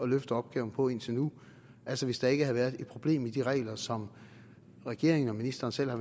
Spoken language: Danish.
løfte opgaven på indtil nu altså hvis der ikke havde været et problem i de regler som regeringen og ministeren selv har